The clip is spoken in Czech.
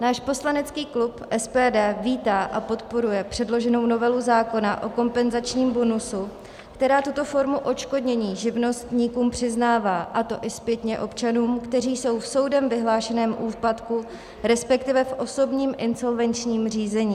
Náš poslanecký klub SPD vítá a podporuje předloženou novelu zákona o kompenzačním bonusu, která tuto formu odškodnění živnostníkům přiznává, a to i zpětně občanům, kteří jsou v soudem vyhlášeném úpadku, respektive v osobním insolvenčním řízení.